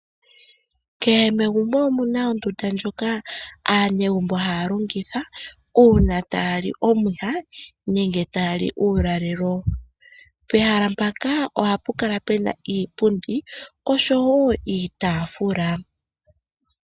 Kehe megumbo omu na ondunda ndjoka aanegumbo haya longitha uuna taya li omwiha nenge taya li uulalelo. Pehala mpaka ohapu kala pu na iipundi osho wo iitaafula.